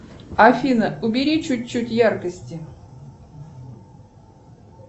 афина убери чуть чуть яркости